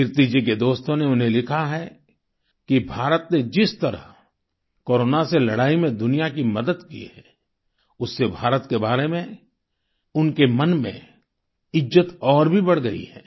कीर्ति जी के दोस्तों ने उन्हें लिखा है कि भारत ने जिस तरह कोरोना से लड़ाई में दुनिया की मदद की है उससे भारत के बारे में उनके मन में इज्जत और भी बढ़ गई है